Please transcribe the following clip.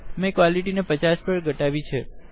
મેં ક્વલિટી ને 50 દર ઘટવી છે